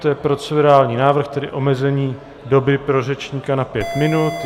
To je procedurální návrh, tedy omezení doby pro řečníka na pět minut.